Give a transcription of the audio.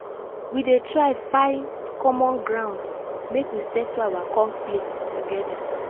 we dey try find common grounds make we settle our conflicts togeda.